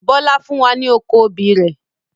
Bọlá fún wa ní oko obì rẹ̀